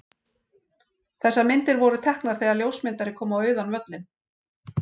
Þessar myndir voru teknar þegar ljósmyndari kom á auðan völlinn.